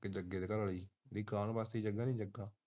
ਤੇਜੱਗੇ ਦੀ ਘਰਵਾਲੀ